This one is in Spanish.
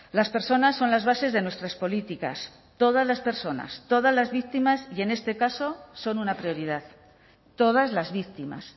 las personas son las bases de nuestras políticas todas las personas todas las víctimas y en este caso son una prioridad todas las víctimas